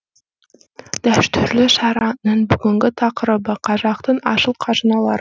дәстүрлі шараның бүгінгі тақырыбы қазақтың асыл қазыналары